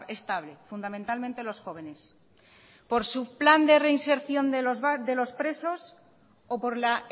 estable fundamentalmente los jóvenes por su plan de reinserción de los presos o por la